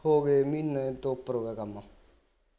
ਹੋ ਗਏ ਮਹੀਨੇ ਤੋਂ ਉਪਰ ਹੋ ਗਿਆ ਕੰਮ